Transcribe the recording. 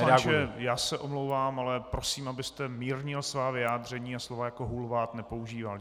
Pane poslanče, já se omlouvám, ale prosím, abyste mírnil svá vyjádření a slova jako hulvát nepoužíval.